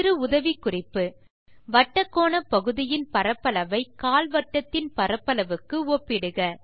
சிறு உதவிக்குறிப்பு வட்டக்கோணப்பகுதியின் பரப்பளவை கால்வட்டத்தின் பரப்பளவுக்கு ஒப்பிடுக